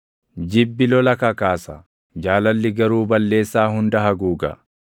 Jibbi lola kakaasa; jaalalli garuu balleessaa hunda haguuga.